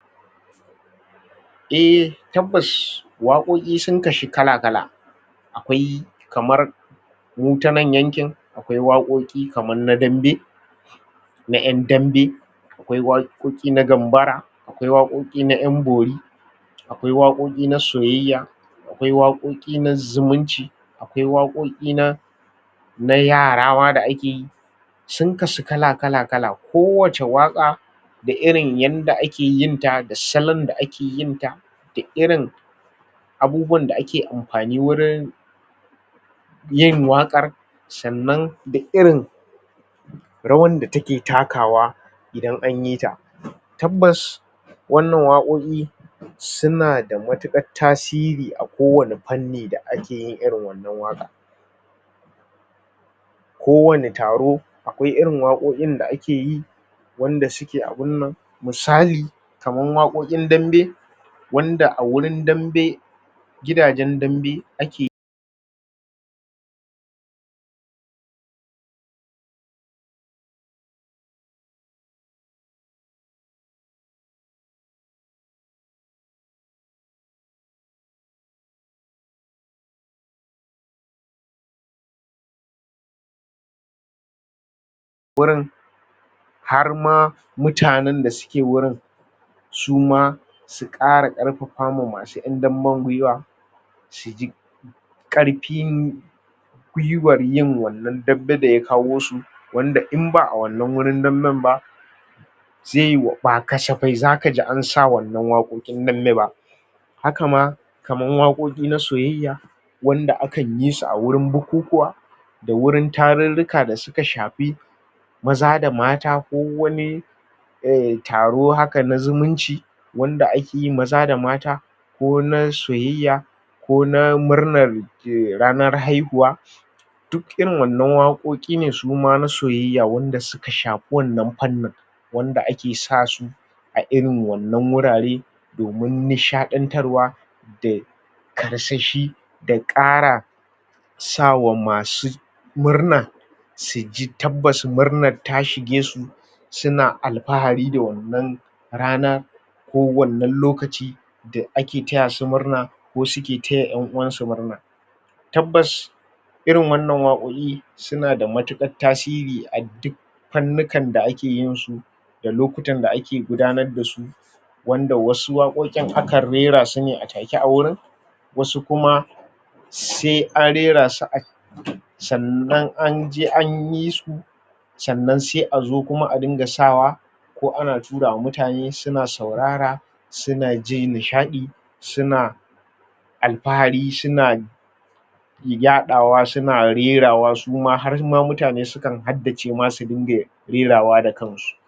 E, tabbas waƙoƙi sun kashu kala-kala. Akwai kamar mu ta nan yankin, akwai kaman na dambe na ƴan dambe; akwai waƙoƙi na gambara; akwai waƙoƙi na ƴan bori; akwai waƙoƙi na soyayya; akwai waƙoƙi na zumunci; akwai waƙoƙi na na yara ma da ake yi. Sun kasu kala-kala-kala. Kowace waƙa da irin yanda ake yinta da salon da ake yinta da irin abubuwan da ake amfani wurin yin waƙar, sannan da irin rawar da take takawa idan an yi ta. Tabbas, wannan waƙoƙi suna da matuƙar tasiri a kowane fanni da ake yin wannan waƙa Kowane taro akwai irin waƙoƙin da ake yi wanda suke abin nan. Misali, kaman waƙoƙin dambe wanda a wurin dambe gidajen dambe ake wurin har ma mutanen da sujke wurin su ma su ƙara ƙarfafa ma masu ƴan damben gwiwa, su ji ƙarfin gwiwar yin wannan dambe da ya kawo su, wanda in ba a wannan wurin damben ba zai yi, ba kasafai za ka ji an sa wannan waƙoƙin dambe ba. Haka ma, kaman waƙoƙi na soyayya wanda akan yi a wurin bukukuwa da wurin tarurruka da suka shafi maza da mata ko wani taro haka na zumunci wanda ake yi maza da mata ko na soyayya ko na murnar ranar haihuwa. Duk irin wannan waƙoƙi ne su ma na soyayya wanda suka shafi wannan fannin wanda ake sa su a irin wannan wurare domin nishaɗantarwa da karsashi da ƙara sa wa masu murna, su ji tabbas murnar ta shige su, suna alfahari da wannan rana ko wannna lokaci da ake taya su murna ko suke taya ƴan uwansu murna. Tabbas, irin wannan waƙoƙi suna da matyuƙar tasiri a duk fannukan da ke yinsu da lokutan da ake gudanar da su wanda wasu waƙoƙin akan rera su ne a take a wurin, wasu kuma sai an rera su sannan an je an yi su, sannan sai a zo kuma a dinga sawa ko ana tura wa mutane suna saurara suna jin nishaɗi suna alfahari suna yaɗawa suna rerawa, su ma har ma mutane sukan haddace ma sun dinga rerawa da kansu.